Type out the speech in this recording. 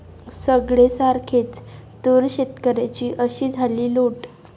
सगळे सारखेचं!, तूर शेतकऱ्यांची अशी झाली लूट